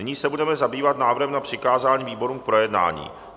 Nyní se budeme zabývat návrhem na přikázání výborům k projednání.